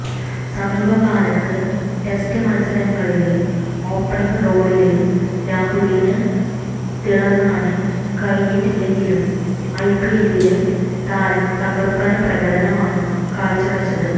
സമീപകാലത്ത് ടെസ്റ്റ് മത്സരങ്ങളില് ഓപ്പണിങ് റോളില് രാഹുലിന് തിളങ്ങാന് കഴിഞ്ഞിട്ടില്ലെങ്കിലും ഐപിഎല്ലില് താരം തകര്പ്പന് പ്രകടനമാണ് കാഴ്ചവെച്ചത്